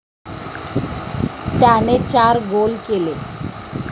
त्याने चार गोल केले.